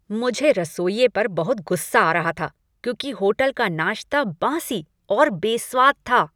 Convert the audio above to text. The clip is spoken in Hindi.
मुझे रसोइये पर बहुत गुस्सा आ रहा था क्योंकि होटल का नाश्ता बासी और बेस्वाद था।